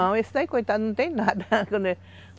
Não, esse daí, coitado, não tem nada